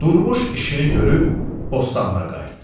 Durmuş işini görüb bostanına qayıtdı.